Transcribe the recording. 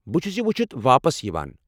بہٕ چھٗس یہ ؤچھتھ واپس یوان۔